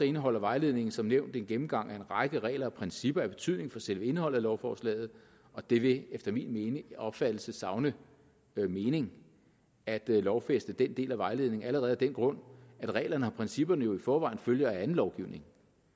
indeholder vejledningen som nævnt en gennemgang af en række regler og principper af betydning for selve indholdet af lovforslaget og det vil efter min opfattelse savne mening at lovfæste den del af vejledningen allerede af den grund at reglerne og principperne jo i forvejen følger af anden lovgivning